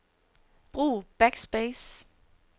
Brug backspace.